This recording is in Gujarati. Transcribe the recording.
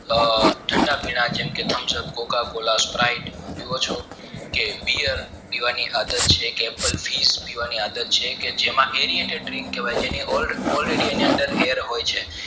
ઠંડા પીણાં જેવાકે thumbs up coca cola sprite પીવો છો કે biyar પીવાની આદત છે કે pulfish પીવાની આદત છે કે જેમાં aeriantek drink જે હોય છે